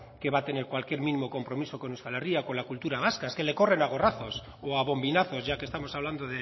que va a tener cualquier mínimo compromiso con euskal herria o con la cultura vasca es que le corren a gorrazos o a bombinazos ya que estamos hablando